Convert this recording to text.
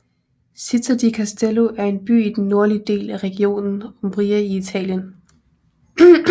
Città di Castello er en by i den nordlige del af regionen Umbria i Italien